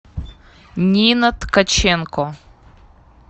нина ткаченко